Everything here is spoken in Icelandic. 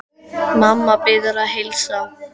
Mamma biður að heilsa.